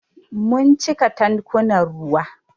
Mun cika tankunan ruwa.